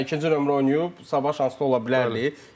Yəni ikinci nömrə oynayıb, sabah şanslı ola bilərdi.